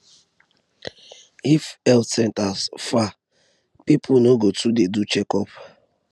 if health centre far people no go too dey go for checkup